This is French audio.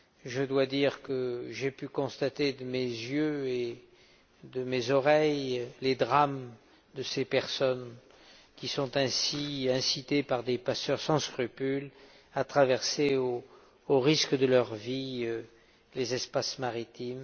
Je dois dire que j'ai pu constater de mes yeux et de mes oreilles les drames de ces personnes qui sont ainsi incitées par des passeurs sans scrupules à traverser, au risque de leur vie, les espaces maritimes.